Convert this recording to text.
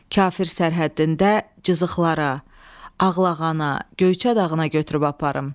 Kafir sərhəddində cızıqlara, Ağlağana, Göyçə dağına götürüb aparım.